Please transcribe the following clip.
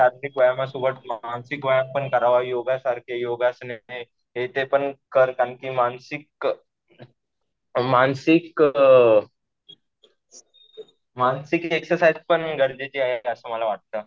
शारीरिक व्यायामासोबत मानसिक व्यायाम पण करावा. योगासारखे योगासने हे ते पण कर. कारण कि मानसिक, मानसिक अ मानसिक एक्सरसाइज पण गरजेची आहे असं मला वाटतं.